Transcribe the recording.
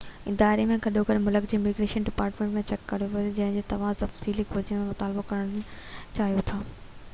اداري ۽ گڏوگڏ ملڪ لاءِ اميگريشن ڊپارٽمينٽ کان چيڪ ڪريو جنهن جو توهان تفصيلي گهرجن جو مطالعو ڪرڻ چاهيو ٿا